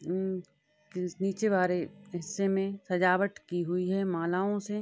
उ नीचे वाले हिस्से में सजावट की हुई है मालाओं से --